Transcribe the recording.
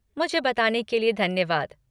मुझे बताने के लिए धन्यवाद।